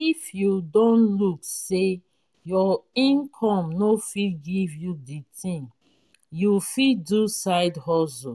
if you don look sey your income no fit give you di thing you fit do side hustle